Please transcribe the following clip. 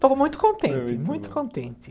Estou muito contente, muito contente.